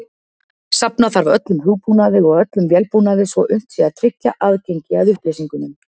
Safna þarf öllum hugbúnaði og öllum vélbúnaði svo unnt sé að tryggja aðgengi að upplýsingunum.